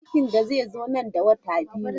Cikinta zai zo nan da wata biyu.